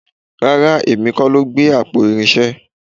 Rárá èmi kọ́ ló gbé àpò irinṣẹ́